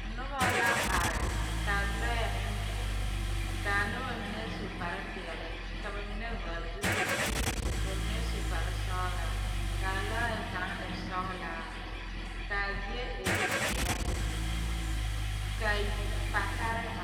Noba la are ka lɔɛ meŋ biŋ k,a noba mine su kparepeɛle ka ba mine vɔgle zupilizeere ka ba mine su kparesɔglaa k,a lɔɛ kaŋ e sɔglaa k,a zie e zeɛ kaa patare are.